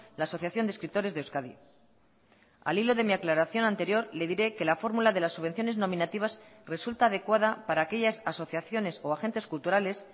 la asociación de escritores de euskadi al hilo de mi aclaración anterior le diré que la fórmula de las subvenciones nominativas resulta adecuada para aquellas asociaciones o agentes culturales